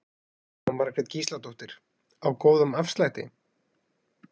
Jóhanna Margrét Gísladóttir: Á góðum afslætti?